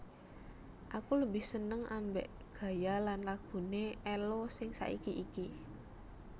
Aku lebih seneng ambek gaya lan lagune Ello sing saiki iki